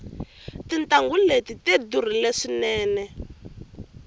tintangu leti tidurile swinene